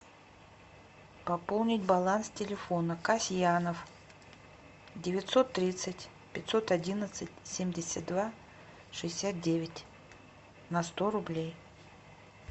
пополнить баланс телефона касьянов девятьсот тридцать пятьсот одиннадцать семьдесят два шестьдесят девять на сто рублей